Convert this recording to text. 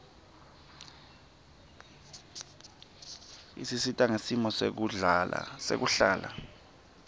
isisita ngesimo sekuhlala